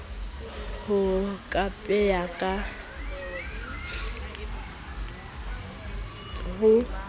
ho kapea ka baesekele ho